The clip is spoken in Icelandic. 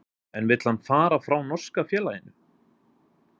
En vill hann fara frá norska félaginu?